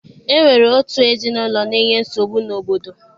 E nwere otu ezinaụlọ na-enye nsogbu n'obodo.